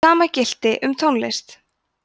sama gilti um tónlist